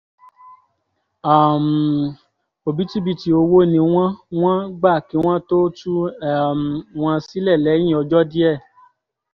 um òbítíbitì owó ni wọ́n wọ́n gbà kí wọ́n tóó tú um wọn sílẹ̀ lẹ́yìn ọjọ́ díẹ̀